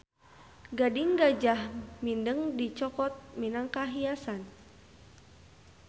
Gading gajah mindeng dicokot minangka hiasan